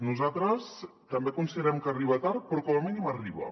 nosaltres també considerem que arriba tard però com a mínim arriba